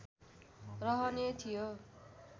रहने थियो